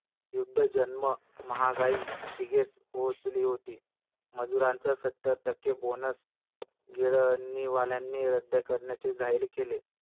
युद्धजन्य महागाई शिगेस पोहोचली होती. मजुरांचा सत्तर टक्के bonus गिरणीवाल्यांनी रद्द करण्याचे जाहीर केले.